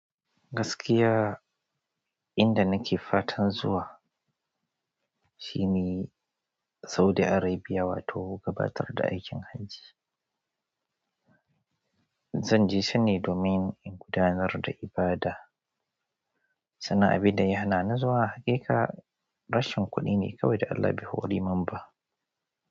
Gaskiya inda nake fatan zuwa shine Saudi Arabia wato gabatar da aikin hajji. Zan je can ne domin in gudanar da ibada, sannan abin da ya hana ni zuwa hakika rashin kuɗi ne kawai da Allah be hoɗi mun ba.